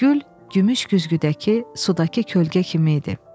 Gül gümüş güzgüdəki sudakı kölgə kimi idi.